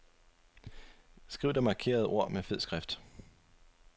Skriv det markerede ord til fed skrift.